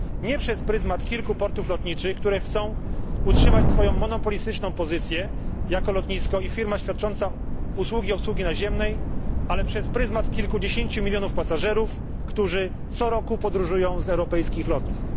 Nie przez pryzmat kilku portów lotniczych, które chcą utrzymać swoją monopolistyczną pozycję jako lotnisko i firma świadcząca usługi obsługi naziemnej, ale przez pryzmat kilkudziesięciu milionów pasażerów, którzy co roku podróżują z europejskich lotnisk.